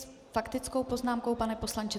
S faktickou poznámkou, pane poslanče?